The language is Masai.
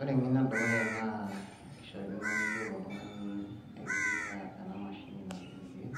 Ore eng'eno edukuya naa kishaakino niyiolo oltung'ani aitumia ena mashini nadung' irkeek,